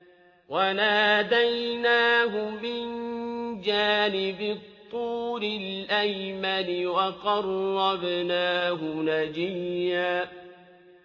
وَنَادَيْنَاهُ مِن جَانِبِ الطُّورِ الْأَيْمَنِ وَقَرَّبْنَاهُ نَجِيًّا